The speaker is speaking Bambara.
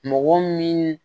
Mɔgɔ min